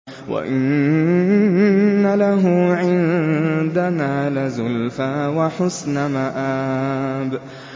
وَإِنَّ لَهُ عِندَنَا لَزُلْفَىٰ وَحُسْنَ مَآبٍ